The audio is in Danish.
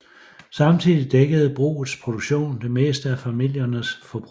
Samtidig dækkede brugets produktion det meste af familiernes forbrug